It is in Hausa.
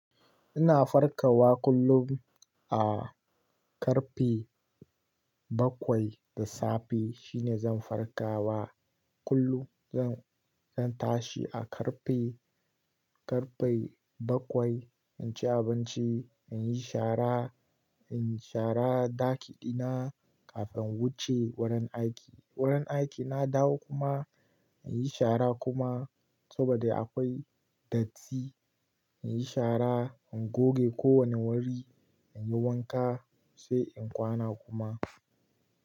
Ina farkawa kullum a karfe bakwai da safe shine zan farkawa kullum. Zan, zan tashi a karfe, karfe bakwai in ci abinci, in yi shara, in yi shara ɗaki ɗina kafin in wuce wurin aiki. Wurin aiki na dawo kuma in yi shara kuma saboda akwai datti. In yi shara, in goge kowane wuri, in yi wanka sai in kwana kuma.